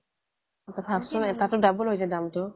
অ' তই ভাৱচোণ এটাৰটো double হৈ যায় দাম টো